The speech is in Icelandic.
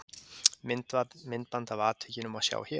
Myndband af atvikinu má sjá hér